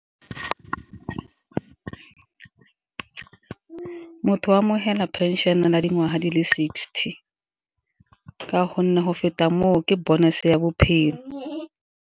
Motho o amogela pension a na le dingwaga di le sixty, ka gonne go feta moo ke bonus ya bophelo.